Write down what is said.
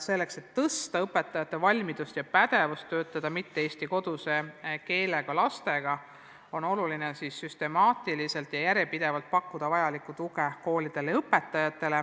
Selleks, et suurendada õpetajate valmidust ja pädevust töötada mitte-eesti lastega, on oluline süstemaatiliselt ja järjepidevalt pakkuda vajalikku tuge koolidele ja õpetajatele.